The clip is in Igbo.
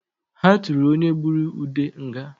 Ha tụrụ onye gbụrụ Ude nga